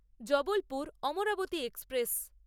Jabalpur Amravati express